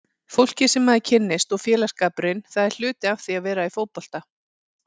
Fólkið sem maður kynnist og félagsskapurinn, það er hluti af því að vera í fótbolta.